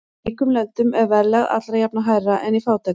Í ríkum löndum er verðlag alla jafna hærra en í fátækum.